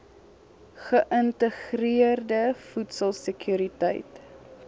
geïntegreerde voedsel sekuriteit